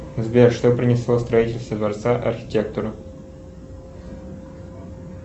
сбер что принесло строительство дворца архитектору